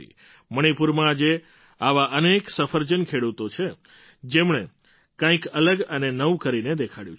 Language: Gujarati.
મણિપુરમાં આજે આવા અનેક સફરજન ખેડૂતો છે જેમણે કંઈક અલગ અને નવું કરીને દેખાડ્યું છે